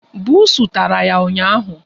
Buusu tara ya ụnyaahụ.